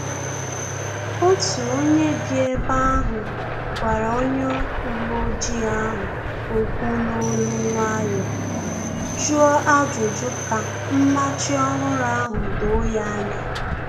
Otu onye bi ebe ahu gwara onye uwe ojii ahụ okwu n'olu nwayọọ, jụọ ajụjụ ka mmachi ọhụrụ ahụ doo ya anya